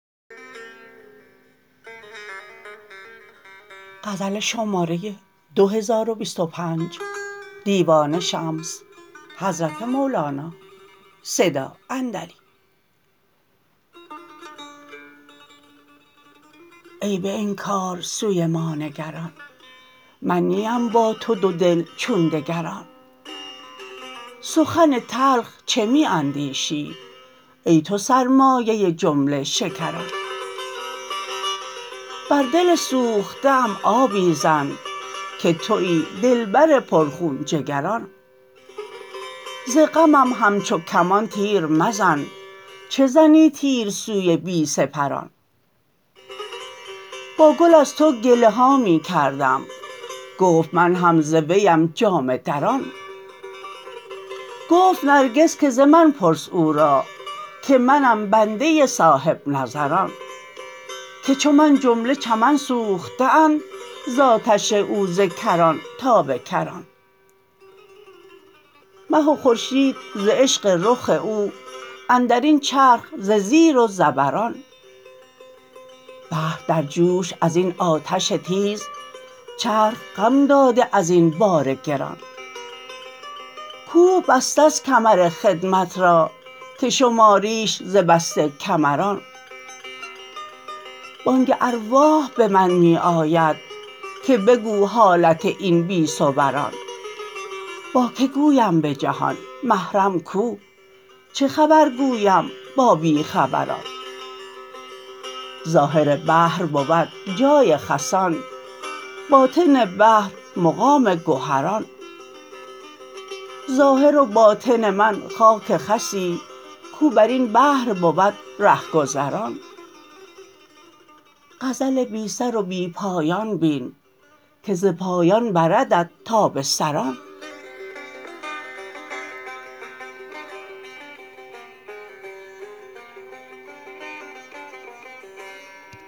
ای به انکار سوی ما نگران من نیم با تو دودل چون دگران سخن تلخ چه می اندیشی ای تو سرمایه جمله شکران بر دل سوخته ام آبی زن که توی دلبر پرخون جگران ز غمم همچو کمان تیر مزن چه زنی تیر سوی بی سپران با گل از تو گله ها می کردم گفت من هم ز ویم جامه دران گفت نرگس که ز من پرس او را که منم بنده صاحب نظران که چو من جمله چمن سوخته اند ز آتش او ز کران تا به کران مه و خورشید ز عشق رخ او اندر این چرخ ز زیر و زبران بحر در جوش از این آتش تیز چرخ خم داده از این بار گران کوه بسته ست کمر خدمت را که شماریش ز بسته کمران بانگ ارواح به من می آید که بگو حالت این بی صوران با کی گویم به جهان محرم کو چه خبر گویم با بی خبران ظاهر بحر بود جای خسان باطن بحر مقام گهران ظاهر و باطن من خاک خسی کو بر این بحر بود ره گذران غزل بی سر و بی پایان بین که ز پایان بردت تا به سران